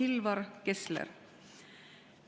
Kilvar Kessler.